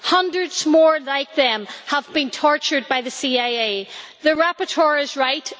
Hundreds more like them have been tortured by the CIA. The rapporteur is right.